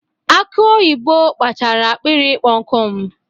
Aki oyibo kpachaara akpịrị ịkpọ nkụ m.